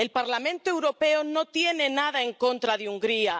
El Parlamento Europeo no tiene nada en contra de Hungría.